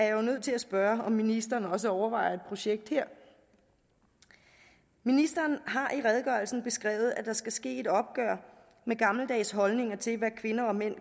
jo nødt til at spørge om ministeren også overvejer et projekt her ministeren har i redegørelsen beskrevet at der skal ske et opgør med gammeldags holdninger til hvad kvinder og mænd